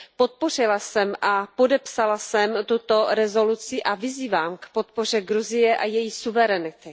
Podpořila jsem a podepsala jsem tuto rezoluci a vyzývám k podpoře Gruzie a její suverenity.